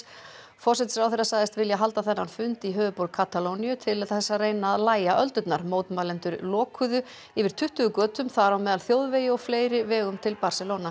forsætisráðherra sagðist vilja halda þennan fund í höfuðborg Katalóníu til þess að reyna að lægja öldurnar mótmælendur lokuðu yfir tuttugu götum þar á meðal þjóðvegi og fleiri vegum til Barcelona